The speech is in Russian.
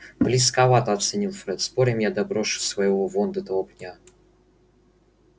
близковато оценил фред спорим я доброшу своего вон до того пня